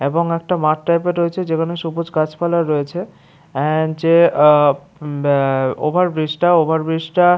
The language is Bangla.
এবং একটা মাঠ টাইপের রয়েছে যেখানে সবুজ গাছপালা রয়েছে। এন্ড যে আ উম আ ওভার ব্রিজটা ওভার ব্রিজটা --